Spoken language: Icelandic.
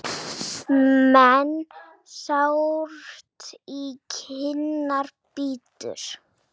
Menn sárt í kinnar bítur.